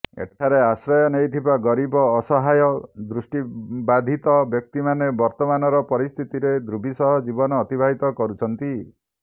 ଏଠାରେ ଆଶ୍ରୟ ନେଇଥିବା ଗରିବ ଅସହାୟ ଦୃଷ୍ଟିବାଧିତ ବ୍ୟକ୍ତିମାନେ ବର୍ତମାନର ପରିସ୍ଥିତିରେ ଦୁର୍ବିସହ ଜୀବନ ଅତିବାହିତ କରୁଛନ୍ତି